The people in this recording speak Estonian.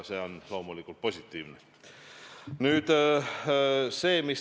See on loomulikult positiivne.